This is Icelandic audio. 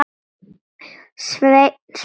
Sveinn spyr